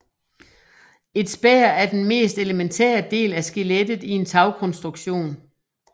Et spær er den mest elementære del af skelettet i en tagkonstruktion